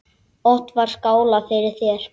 Oft var skálað fyrir þér.